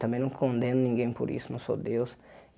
Também não condeno ninguém por isso, não sou Deus.